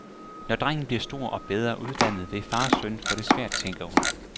Når drengen bliver stor og bedre uddannet, vil far og søn få det svært, tænker hun.